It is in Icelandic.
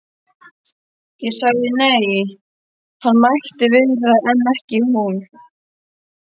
Ég sagði nei, hann mætti vera en ekki hún.